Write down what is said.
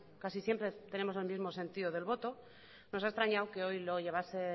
casi siempre tenemos el mismo sentido del voto nos ha extrañado que hoy lo llevase